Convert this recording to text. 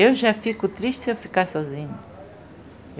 Eu já fico triste se eu ficar sozinha.